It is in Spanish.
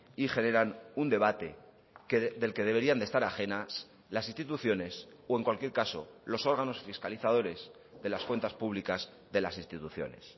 y generan un debate del que deberían de estar ajenas las instituciones o en cualquier caso los órganos fiscalizadores de las cuentas públicas de las instituciones